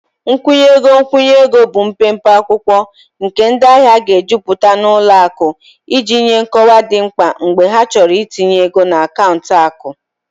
Nkwụnye ego nkwụnye ego bụ mpempe akwụkwọ nke ndị ahịa ga-ejupụta na ụlọ akụ iji nye nkọwa dị mkpa mgbe ha chọrọ itinye ego na akaụntụ akụ